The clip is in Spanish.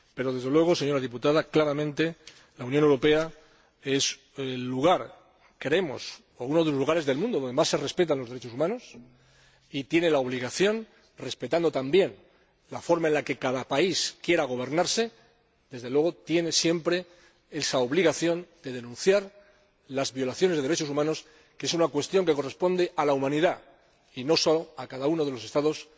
Pero, desde luego, señora diputada, la Unión Europea es claramente el lugar —creemos, o uno de los lugares— del mundo donde más se respetan los derechos humanos y la Unión Europea tiene la obligación ─respetando el modo en que cada país quiera gobernarse─, desde luego tiene siempre la obligación, de denunciar las violaciones de derechos humanos, que es una cuestión que corresponde a la humanidad y no solo a cada uno de los Estados